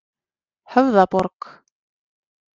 Höfðaborg